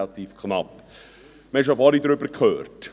Wir haben vorhin bereits davon gehört.